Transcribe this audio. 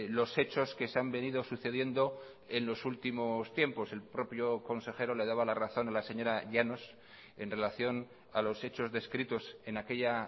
los hechos que se han venido sucediendo en los últimos tiempos el propio consejero le daba la razón a la señora llanos en relación a los hechos descritos en aquella